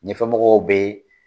Ɲɛfɛmɔgɔw be